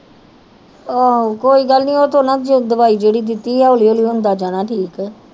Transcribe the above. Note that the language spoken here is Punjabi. ਆਹੋ ਕੋਈ ਗੱਲ ਨੀ ਉਹ ਤੇ ਨਾ ਦਵਾਈ ਜਿਹੜੀ ਦਿੱਤੀ ਆ ਹੌਲੀ ਹੌਲੀ ਹੁੰਦਾ ਜਾਣਾ ਠੀਕ